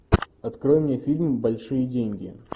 открой мне фильм большие деньги